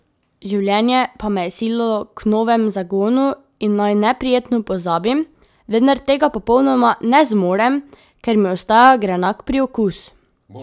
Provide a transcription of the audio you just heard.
Življenje pa me je sililo k novemu zagonu in naj neprijetno pozabim, vendar tega popolnoma ne zmorem, ker mi ostaja grenak priokus.